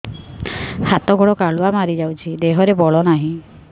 ହାତ ଗୋଡ଼ କାଲୁଆ ମାରି ଯାଉଛି ଦେହରେ ବଳ ନାହିଁ